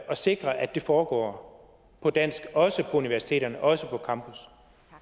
sikre at det foregår på dansk også på universiteterne også på campus